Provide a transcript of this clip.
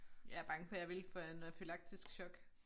Jeg er bange for jeg ville få anafylaktisk shock